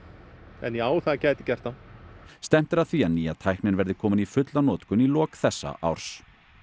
en já það gæti gert það stefnt er að því að nýja tæknin verði komin í fulla notkun í lok þessa árs